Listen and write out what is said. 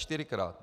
Čtyřikrát.